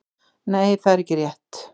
nei það er ekki rétt